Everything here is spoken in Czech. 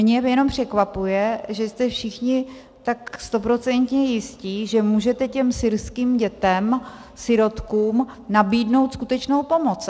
Mě jenom překvapuje, že jste všichni tak stoprocentně jisti, že můžete těm syrským dětem, sirotkům, nabídnout skutečnou pomoc.